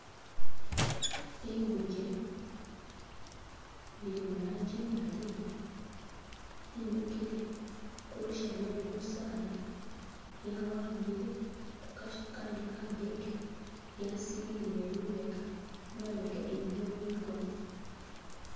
Liguje lili mulanji imali limikile kulusha lwe gusaala lya wambile kukasha kandi kageke lyasililile lubega imabega iliyo bigona